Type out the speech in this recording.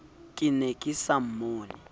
ke ne ke sa mmone